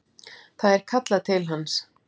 Það er kallað til hans.